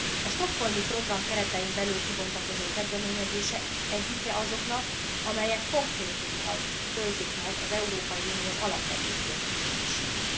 A Stockholmi Program keretein belül kibontakozó kezdeményezés egyike azoknak, amelyek konkrétummal töltik meg az Európai Unió alapvető célkitűzéseit.